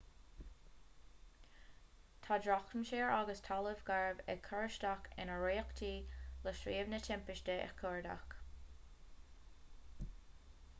tá drochaimsir agus talamh garbh ag cur isteach ar iarrachtaí le suíomh na timpiste a chuardach